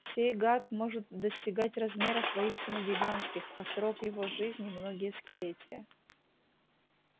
сей гад может достигать размеров воистину гигантских а срок его жизни многие столетия